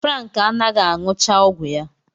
Frank anaghị aṅụchaọgwụ ya